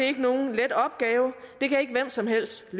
er nogen let opgave hvem som helst